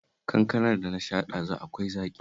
Kankanar da na sha ɗazu akwai zaƙi